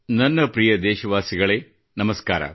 ನನ್ನ ಪ್ರಿಯ ದೇಶವಾಸಿಗಳೇ ನಮಸ್ಕಾರ